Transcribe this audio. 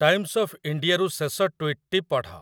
Times of ଇଣ୍ଡିଆରୁ ଶେଷ ଟୁଇଟଟି ପଢ଼।